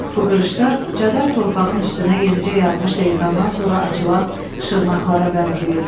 Bu qırışlar cadar torpağın üstünə yenicə yağmış leysandan sonra açılan şırnaqlara bənzəyirdi.